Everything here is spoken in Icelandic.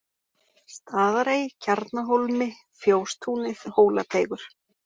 Staðarey, Kjarnahólmi, Fjóstúnið, Hólateigur